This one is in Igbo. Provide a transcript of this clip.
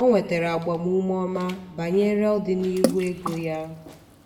ọ nwetara agbamume ọma banyere ọdịnihu ego ya.